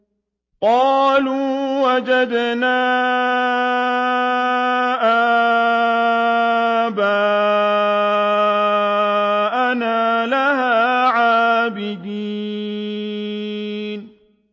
قَالُوا وَجَدْنَا آبَاءَنَا لَهَا عَابِدِينَ